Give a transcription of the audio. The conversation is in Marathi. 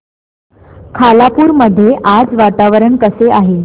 खालापूर मध्ये आज वातावरण कसे आहे